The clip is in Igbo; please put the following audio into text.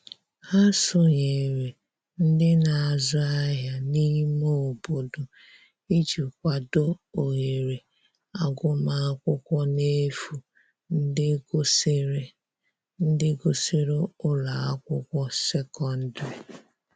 Ha sonyere ndi n'azu ahia n'ime obodo iji kwado ohere agụma akwụkwo n'efu ndi gusiri ndi gusiri ụlọ akwụkwo sekọndrị